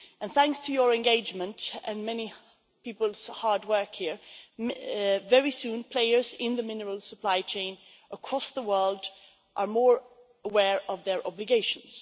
Thanks to your engagement and many people's hard work here, very soon players in the mineral supply chain across the world are more aware of their obligations.